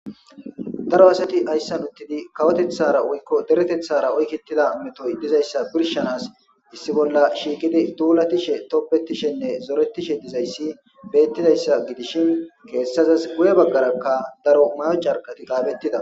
Daro asathi hayssan uththidi kawotheththaara woykko deretheththaara oykeththiza methoy dizayssa birshshanaassi issi bolla shiiqidit thuulathishe tobeththishenne zoreththishe dizayssi beeththidayssa gidishin geyssazas guye baggarakka daro maayo carqqethikka qaapheththida.